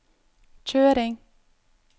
kjøring